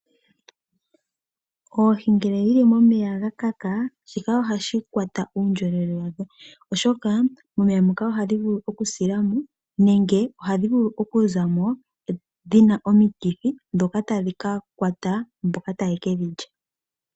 Oohi ngele dhili momeya ga kaka, shika oshi eta uupyakadhi kuundjolowele wadho. Oshoka momeya mono ohadhi vulu okusila mo nenge ohadhi vulu okuzamo dhina omikithi dhoka tadhi ka kwata mboka taye ke dhi lya.